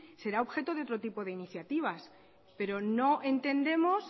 será objeto de otro tipo de iniciativas pero no entendemos